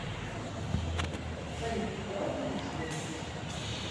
салют давай выпьем сегодня вместе